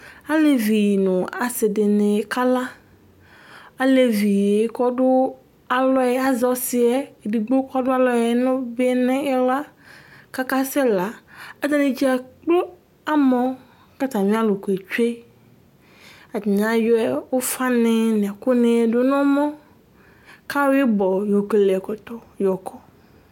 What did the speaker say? Alevi nu asi dini kala Alevi yɛ ku ɔdu alɔ yɛ azɔ ɔsi yɛ edigbo ku ɔdu alɔ nu bi nu iɣla ku akasɛla atani dzakplo amɔ ku atami aluku etsue atani ayɔ ufani nu ɛkuni du nu ɛmɔ ku ayɔ ibɔ yɔkele ɛkɔtɔ yɔ kɔ